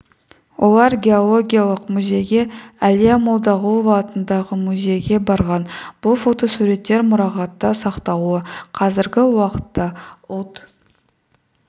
олар геологияқ музейге әлия молдағұлова атындағы музейге барған бұл фотосуреттер мұрағатта сақтаулы қазіргі уақытта ұлт